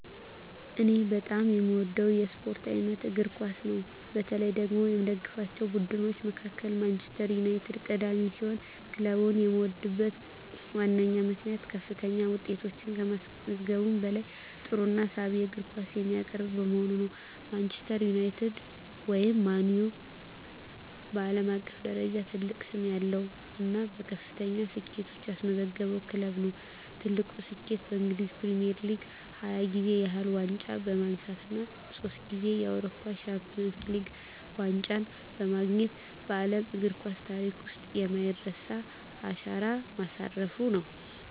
እኔ በጣም የምወደው የስፖርት አይነት እግር ኳስ ነው። በተለይ ደግሞ ከምደግፋቸው ቡድኖች መካከል ማንቸስተር ዩናይትድ ቀዳሚ ሲሆን፣ ክለቡን የምወድበት ዋነኛው ምክንያት ከፍተኛ ውጤቶችን ከማስመዝገቡም በላይ ጥሩና ሳቢ የእግር ኳስ የሚያቀርብ በመሆኑ ነው። ማንቸስተር ዩናይትድ (ማን ዩ) በዓለም አቀፍ ደረጃ ትልቅ ስም ያለው እና ከፍተኛ ስኬቶችን ያስመዘገበ ክለብ ነው። ትልቁ ስኬቱም በእንግሊዝ ፕሪሚየር ሊግ 20 ጊዜ ያህል ዋንጫ በማንሳት እና ሶስት ጊዜ የአውሮፓ ቻምፒየንስ ሊግ ዋንጫን በማግኘት በዓለም እግር ኳስ ታሪክ ውስጥ የማይረሳ አሻራ ማሳረፉ ነው።